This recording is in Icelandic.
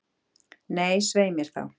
Nei, svei mér þá.